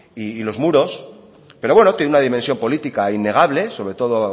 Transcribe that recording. y los muros pero bueno tiene una dimensión política innegable sobre todo